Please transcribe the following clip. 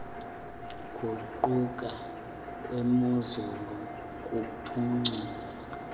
guquka kwemozulu kuphuculwe